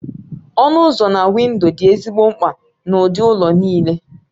Ọnụ ụzọ na windo dị ezigbo mkpa n'ụdị ụlọ niile